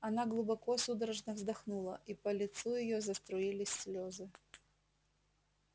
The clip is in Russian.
она глубоко судорожно вздохнула и по лицу её заструились слезы